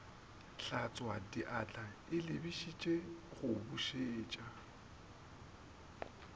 hlatswadiatla e lebišitše go bušetša